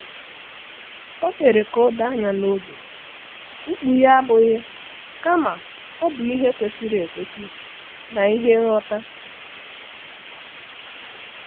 O mere ka o doo anya na ego mkpughe abụghị kama ọ bụ ihe kwesịrị ekwesị na ihe nghọta